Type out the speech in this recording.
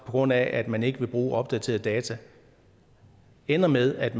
grund af at man ikke vil bruge opdaterede data ender med at